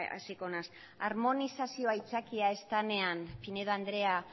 hasiko naiz armonizazioa aitzakia ez denean pinedo andrea